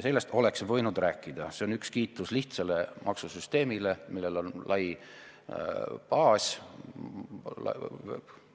Sellest oleks võinud rääkida, sest see kiidab lihtsat maksusüsteemi, millel on lai baas,